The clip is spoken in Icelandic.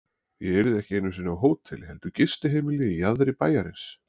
Ég yrði ekki einu sinni á hóteli heldur gistiheimili í jaðri bæjarins.